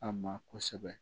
A ma kosɛbɛ